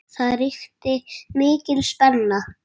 Það ríkti mikil spenna.